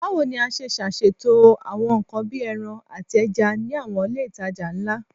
Bawo ni a ṣe ṣaṣeto awọn nkan bii ẹran ati ẹja ni awọn ile itaja nla?